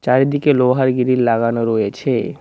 বাইরের দিকে লোহার গিরিল লাগানো রয়েছে।